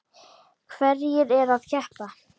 Hverjir eru að keppa?